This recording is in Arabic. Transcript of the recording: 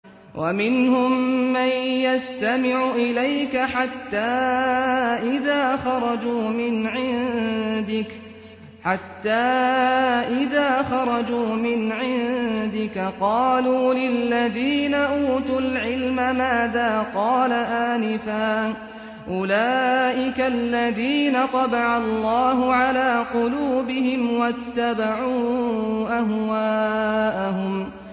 وَمِنْهُم مَّن يَسْتَمِعُ إِلَيْكَ حَتَّىٰ إِذَا خَرَجُوا مِنْ عِندِكَ قَالُوا لِلَّذِينَ أُوتُوا الْعِلْمَ مَاذَا قَالَ آنِفًا ۚ أُولَٰئِكَ الَّذِينَ طَبَعَ اللَّهُ عَلَىٰ قُلُوبِهِمْ وَاتَّبَعُوا أَهْوَاءَهُمْ